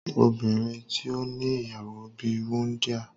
Obinrin ti o ni iyawo bi wundia